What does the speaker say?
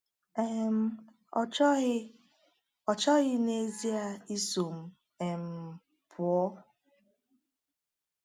um Ọ chọghị Ọ chọghị n’ezie iso m um pụọ.